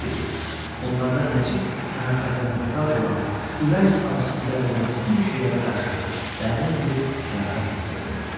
onlarda nəcib məhəbbətə möhtac olan, ürək ağrısı tələb edən bütün şeylərə qarşı dərin bir rəğbət hissi oxunurdu.